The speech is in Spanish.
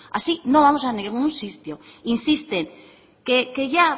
así no vamos a ningún sitio insisten